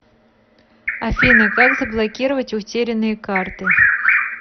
афина как заблокировать утерянные карты